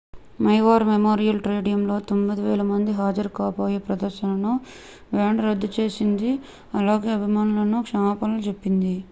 maui war memorial stadiumలో 9000 మంది హాజరు కాబోయే ప్రదర్శనను బ్యాండ్ రద్దు చేసింది అలాగే అభిమానులకు క్షమాపణలు చెప్పింది